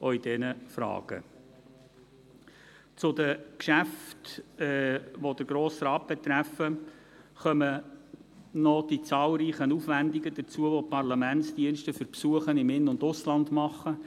Zu den Geschäften, welche den Grossen Rat betreffen, kommen noch die zahlreichen Aufwendungen hinzu, welche die Parlamentsdienste für Besuche im In- und Ausland leisten.